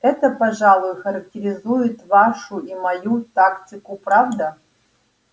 это пожалуй характеризует вашу и мою тактику правда